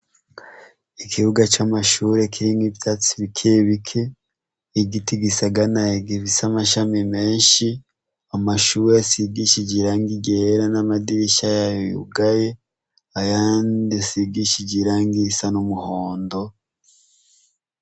Ikibuga c'amashure kirimwo ivyatsi bikebike, igiti gisaganaye gifise amashami menshi, amashuri asigishije irangi ryera n'amadirisha yayo yugaye,,ayandi asigishije irangi risa n'umuhondo.